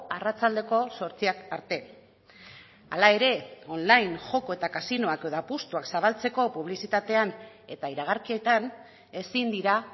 arratsaldeko zortziak arte hala ere online joko eta kasinoak edo apustuak zabaltzeko publizitatean eta iragarkietan ezin dira